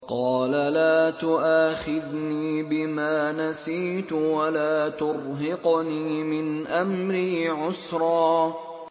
قَالَ لَا تُؤَاخِذْنِي بِمَا نَسِيتُ وَلَا تُرْهِقْنِي مِنْ أَمْرِي عُسْرًا